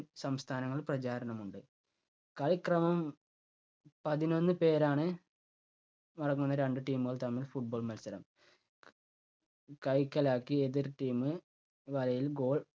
സംസ്ഥാനങ്ങൾ പ്രചാരണമുണ്ട്. കളി ക്രമം പതിനൊന്ന് പേരാണ് അടങ്ങുന്ന രണ്ടു team കൾ തമ്മിൽ football മത്സരം. കൈക്കലാക്കി എതിർ team വലയിൽ goal